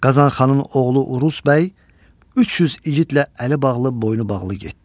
Qazan xanın oğlu Uruz bəy 300 igidlə əli bağlı, boynu bağlı getdi.